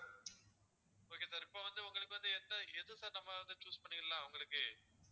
okay sir இப்போ வந்து உங்களுக்கு வந்து எந்த எது sir நம்ப வந்து choose பண்ணிடலாம் உங்களுக்கு